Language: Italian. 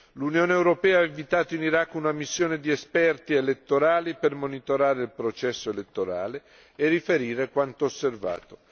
L'Unione europea ha inviato in Iraq una missione di esperti elettorali per monitorare il processo elettorale e riferire quanto osservato.